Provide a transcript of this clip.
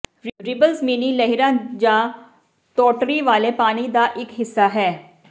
ripples mini ਲਹਿਰਾਂ ਜਾਂ ਤੋਟੜੀ ਵਾਲੇ ਪਾਣੀ ਦਾ ਇਕ ਹਿੱਸਾ ਹੈ